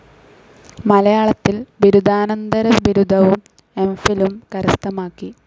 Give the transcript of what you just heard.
മലയാളത്തിൽ ബിരുദാനന്തരബിരുദവും എംഫിലും കരസ്ഥമാക്കി.